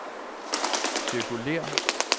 cirkulér